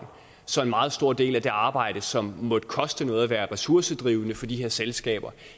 så en meget stor del af det arbejde som måtte koste noget og være ressourcekrævende for de her selskaber